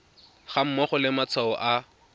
ga mmogo le matshwao a